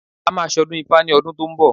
A máa ṣ'ọdún ifá ní ọdún tó ń bọ̀